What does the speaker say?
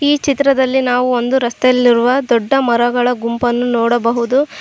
ಈ ಚಿತ್ರದಲ್ಲಿ ನಾವು ಒಂದು ರಸ್ತೆಯಲ್ಲಿರುವ ದೊಡ್ಡ ಮರಗಳ ಗುಂಪನ್ನು ನೋಡಬಹುದು.